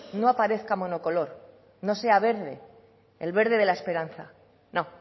no aparezca monocolor no sea verde el verde de la esperanza no